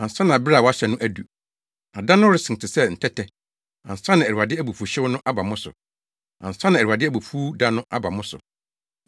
ansa na bere a wɔahyɛ no adu, na da no resen te sɛ ntɛtɛ, ansa na Awurade abufuwhyew no aba mo so, ansa na Awurade abufuw da no aba mo so.